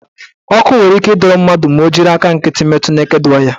Ọkụ nwere ike ịdọrọ mmadụ ma ọ jiri aka nkịtị metu neked waya.